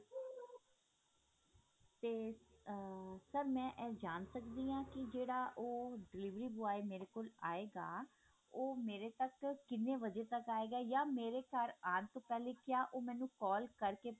ਤੇ ਅਹ sir ਮੈਂ ਇਹ ਜਾਣ ਸਕਦੀ ਹਾਂ ਕੀ ਜਿਹੜਾ ਉਹ delivery boy ਮੇਰੇ ਕੋਲ ਆਇਗਾ ਉਹ ਮੇਰੇ ਤੱਕ ਕਿੰਨੇ ਵਜੇ ਤੱਕ ਆਇਗਾ ਯਾ ਮੇਰੇ ਘਰ ਆਉਣ ਤੋਂ ਪਹਿਲੇ ਕਿਆ ਉਹ ਮੈਨੂੰ call ਕਰਕੇ